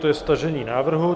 To je stažení návrhu.